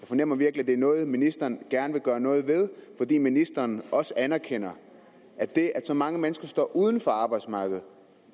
fornemmer virkelig at det er noget ministeren gerne vil gøre noget ved fordi ministeren også anerkender at det at så mange mennesker står uden for arbejdsmarkedet